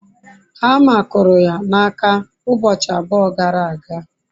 hama kuru ya n'aka ubochi abua gara aga